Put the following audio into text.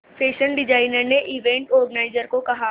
fashion designer ने event organiser को कहा